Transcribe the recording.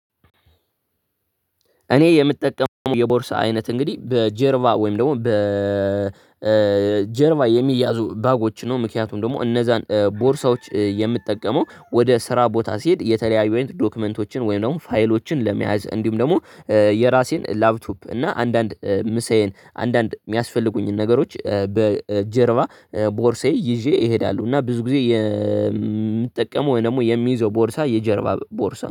እኔ የምጠቀመው የቦርሳ አይነት እንግዲህ በጀርባ ወይም ደግሞ በጀርባ የሚያዙ ባጎችን ነው። ምክንያቱም ደግሞ እነዛን ቦርሳዎች የምጠቀመው ወደ ስራ ቦታ ስሄድ የተለያዩ አይነት ዶክመንቶችን ወይም ደግሞ ፋይሎችን ለመያዝ፣ እንዲሁም ደግሞ የራሴን ላፕቶፕ እና አንዳንድ ምሳዬን አንዳንድ የሚያስፈልጉኝን ነገሮች በጀርባ ቦርሳዬ ይዤ እሄዳለሁ እና ብዙ ግዜ የምጠቀመው ወይም ደግሞ የምይዘው ቦርሳ የጀርባ ቦርሳ ነው።